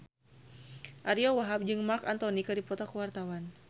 Ariyo Wahab jeung Marc Anthony keur dipoto ku wartawan